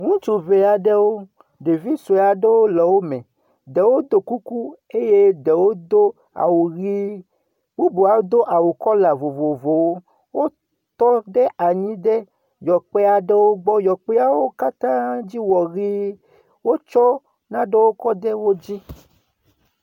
Ŋutsu ŋee aɖewo, ɖevi sue aɖewo le wo me ɖewo do kuku eye ɖewo do awu ʋi bubu hã do awu kɔla vovovowo, wotɔ ɖev yɔkpe aɖewo gbɔ, yɔkpeawo katã dzi wɔ ʋie, wotsɔ nanewo ts da ɖe wodzi.